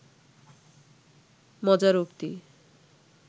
মজার উক্তি